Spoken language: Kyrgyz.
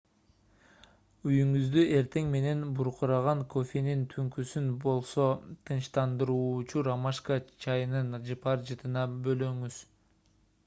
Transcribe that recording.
үйүңүздү эртең менен буркураган кофенин түнкүсүн болсо тынчтандыруучу ромашка чайынын жыпар жытына бөлөңүз